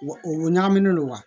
Wa u ɲagaminen don wa